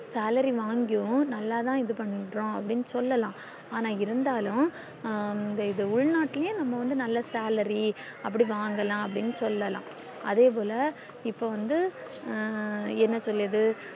salary வாங்கியும் நல்லதா இது பண்றோம் அப்டின்னு சொல்லலாம் ஆனா இருந்தாலும் ஹம் இது உள்நாட்டுலையும் நம்ம வந்து salary அப்டி வாங்கலாம் அப்டின்னு சொல்லல்லாம் அதே போல இப்போ வந்து ஹம் என்ன சொல்லுது